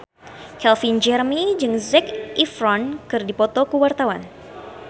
Calvin Jeremy jeung Zac Efron keur dipoto ku wartawan